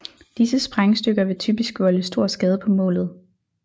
Disse sprængstykker vil typisk volde stor skade på målet